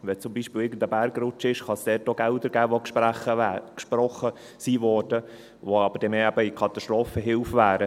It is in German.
Wenn sich zum Beispiel irgendein Bergrutsch ereignet, kann es dort auch Gelder geben, die gesprochen werden, die aber mehr in die Katastrophenhilfe gingen.